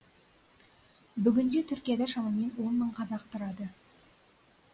бүгінде түркияда шамамен он мың қазақ тұрады